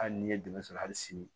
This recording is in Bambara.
Hali n'i ye dɛmɛ sɔrɔ hali sini